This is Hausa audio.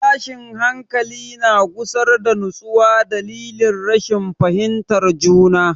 Tashin hankali na gusar da nutsuwa dalilin rashin fahimtar juna.